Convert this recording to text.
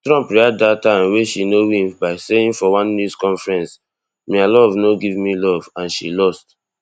trump react dat time wey she no win by saying for one news conference mia love no give me love and she lost